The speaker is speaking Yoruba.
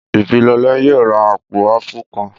Ìbílọlá yóò ra àpò áàpù kan